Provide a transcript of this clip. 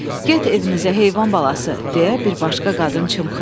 Get evinizə, heyvan balası, deyə bir başqa qadın çımxırdı.